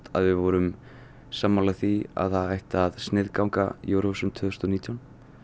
við værum sammála því að það ætti að sniðganga Eurovision tvö þúsund og nítján